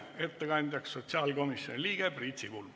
Ettekandja on sotsiaalkomisjoni liige Priit Sibul.